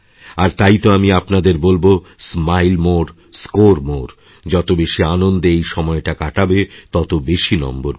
আর তাই তো আমিআপনাদের বলব স্মাইলমোর স্কোর মোরে যত বেশি আনন্দে এইসময়টা কাটাবে তত বেশি নম্বর পাবে